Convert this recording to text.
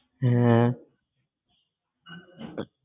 হ্যাঁ